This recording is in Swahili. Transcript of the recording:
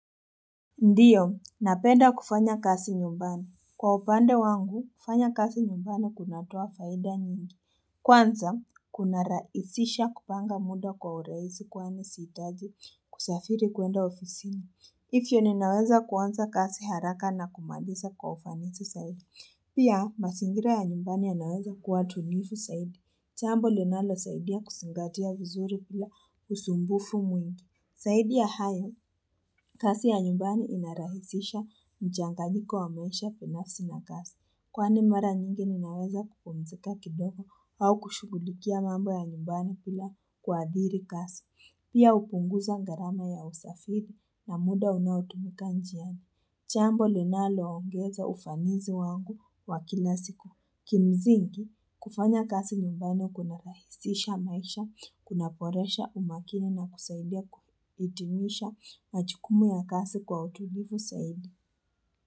Ndio, napenda kufanya kazi nyumbani. Kwa upande wangu, kufanya kazi nyumbani kunatoa faida nyingi. Kwanza, kunarahisisha kupanga muda kwa urahisi kwani sihitaji kusafiri kwenda ofisini. Hivyo ninaweza kwanza kazi haraka na kumaliza kwa ufanisi zaidi. Pia, mazingira ya nyumbani ya naweza kuwa tulivu zaidi. Chambo linalo zaidi ya kuzingatia vizuri pia usumbufu mwingi. Zaidi ya hayo, kazi ya nyumbani inarahisisha mchanganyiko wa maisha binafsi na kazi. Kwani mara nyingi ninaweza kupumzika kidogo au kushughulikia mambo ya nyumbani pila kuadhiri kazi. Pia hupunguza gharama ya usafiri na muda unautumika njiani. Jambo linalo ongeza ufanizi wangu wa kila siku. Kimsingi, kufanya kazi nyumbani kuna rahisisha maisha, kuna poresha umakini na kusaidia kudumisha na majukumu ya kazi kwa utulivu zaidi.